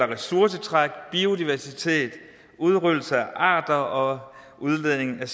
ressourcetræk biodiversitet udryddelse af arter og udledning af